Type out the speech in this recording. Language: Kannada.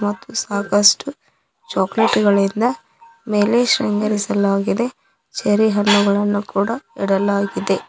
ಮತ್ತು ಸಾಕಷ್ಟು ಚಾಕಲೇಟ್ ಗಳಿಂದ ಮೇಲೆ ಶೃಂಗರಿಸಲಾಗಿದೆ ಚೇರಿ ಹಣ್ಣುಗಳನ್ನು ಕೂಡ ಇಡಲಾಗಿದೆ.